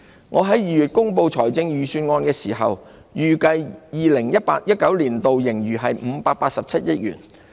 我在2月公布預算案時，預計 2018-2019 年度盈餘為587億元。